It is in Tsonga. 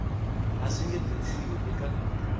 a swi nge tirhisiwi eka